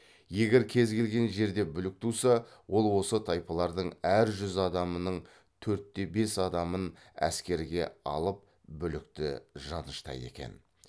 егер кез келген жерде бүлік туса ол осы тайпалардың әр жүз адамының төртте бес адамын әскерге алып бүлікті жаныштайды екен